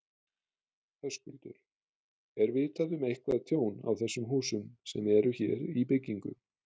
Höskuldur: Er vitað um eitthvað tjón á þessum húsum sem eru hér í byggingu?